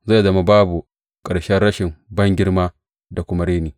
Zai zama babu ƙarshen rashin bangirma da kuma reni.